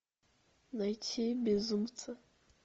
найти безумцы